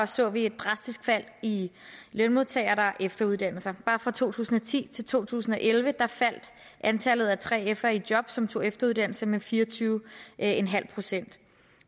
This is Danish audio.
så vi et drastisk fald i antallet lønmodtagere der efteruddanner sig bare fra to tusind og ti til to tusind og elleve faldt antallet af 3fere i job som tog efteruddannelse med fire og tyve en halv procent